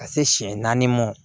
Ka se siɲɛ naani ma